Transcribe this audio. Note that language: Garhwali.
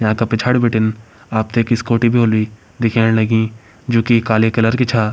याका पिछाड़ी बिटिन आप ट एक स्कूटी भी होली दिखेण लगीं जोकि काली कलर की छा।